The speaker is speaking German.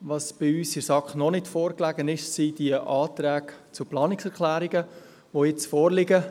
Was uns seitens der SAK noch nicht vorlag, sind die Planungserklärungen, welche jetzt vorliegen.